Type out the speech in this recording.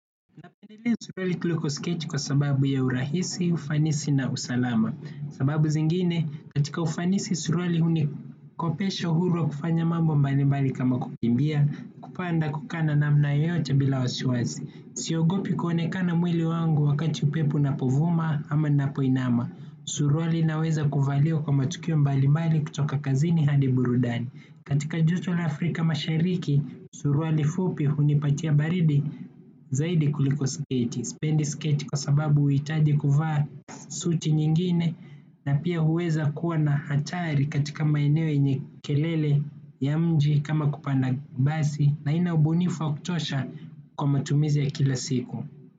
Napendelea suruali kuliko sketi kwa sababu ya urahisi, ufanisi na usalama. Sababu zingine, katika ufanisi suruali unikopesho huru wa kufanya mambo mbali mbali kama kukimbia, kupanda kukaa na namna yoyote bila wasiwasi. Siogopi kuonekana mwili wangu wakati upepo unapovuma ama ninapoinama. Suruali inaweza kuvaliwa kwa matukio mbalimbali kutoka kazini hadi burudani. Katika joto la Afrika mashariki, suruali fupi hunipatia baridi zaidi kuliko sketi. Sipendi sketi kwa sababu huhitaji kuvaa suti nyingine na pia huweza kuwa na hatari katika maeneo yenye kelele ya mji kama kupanda basi na haina ubunifu wa kutosha kwa matumizi ya kila siku.